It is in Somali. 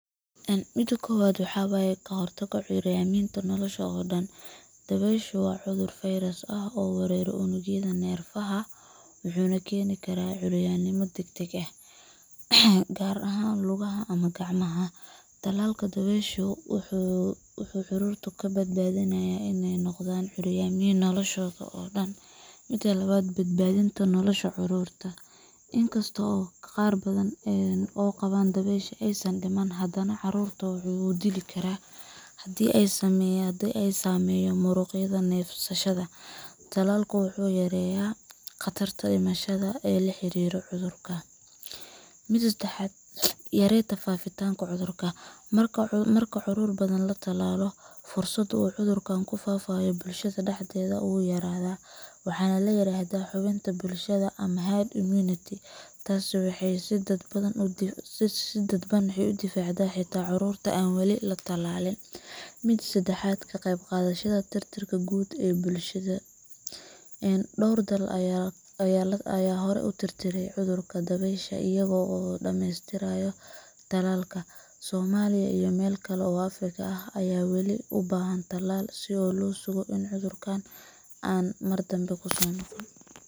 Mida kobadvwaxa waye. Ka hortagga curyaaminta nolosha oo dhan Dabayshu waa cudur fayras ah oo weerara unugyada neerfaha, wuxuuna keeni karaa curyaamin degdeg ah—gaar ahaan lugaha ama gacmaha. Tallaalka dabaysha wuxuu carruurta ka badbaadinayaa in ay noqdaan curyaamin noloshooda oo dhan. Mida labad. Badbaadinta nolosha carruurta Inkasta oo qaar badan oo qaba dabaysha aysan dhiman, haddana cudurku wuu dili karaa haddii uu saameeyo muruqyada neefsashada. Tallaalku wuxuu yareeyaa khatarta dhimashada ee la xiriirta cudurkan. Mida sedexad. Yareynta faafitaanka cudurka Marka carruur badan la tallaalo, fursadda uu cudurku ku faafo bulshadda dhexdeeda wuu yaraadaa (waxaa la yiraahdaa "xannibaad bulsho" ama herd immunity. Taasi waxay si dadban u difaacdaa xitaa carruurta aan weli la tallaalin. Mida afaraad. Ka qaybqaadashada tirtirka guud ee dabaysha dunida Dhowr dal ayaa hore u tirtiray cudurka dabaysha iyagoo dhameestirayo tallaal. Soomaaliya iyo meelo kale oo Afrikaan ah ayaa weli u baahan tallaal si loo sugo in cudurkan aanu mar dambe ku soo noqonin